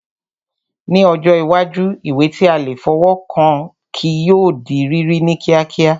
Ní ọjọ́ iwájú, ìwé tí a lè fọwọ́ kàn kí yóò di rírí ní kíákíá